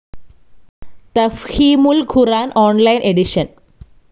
Tafheemul Quran online edition